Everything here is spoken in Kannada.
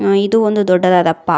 ಮತ್ತು ಇದು ಒಂದು ದೊಡ್ಡದಾದ ಪಾರ್ಕ್ .